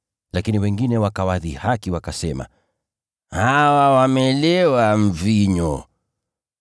Lakini wengine wakawadhihaki wakasema, “Hawa wamelewa divai!”